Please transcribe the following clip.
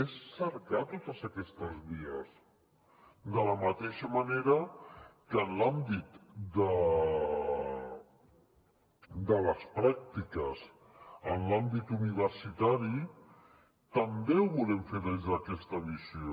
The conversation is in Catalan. és cercar totes aquestes vies de la mateixa manera que en l’àmbit de les pràctiques en l’àmbit universitari també ho volem fer des d’aquesta visió